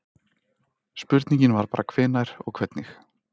Spurningin var bara hvenær og hvernig.